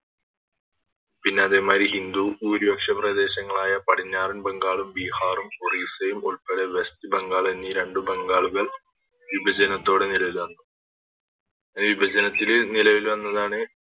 പിന്നെ അതേമാതിരി ഹിന്ദു ഭൂരിപക്ഷ പ്രദേശങ്ങളായ പടിഞ്ഞാറൻ ബംഗാളും ബിഹാറും ഒറീസയും ഉൾപ്പടെ വെസ്റ്റ് ബംഗാൾ എന്നീ രണ്ടു ബംഗാളുകൾ വിഭജനത്തോടെ നിലവിൽ വന്നു വിഭജനത്തിൽ നിലവിൽ വന്നതാണ്